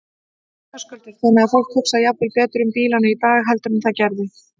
Höskuldur: Þannig að fólk hugsar jafnvel betur um bílana í dag heldur en það gerði?